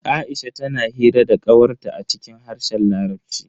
Aisha tana hira da kawar ta a cikin harshen larabci.